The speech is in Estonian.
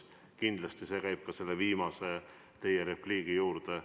Kindlasti käib see ka teie viimase repliigi kohta.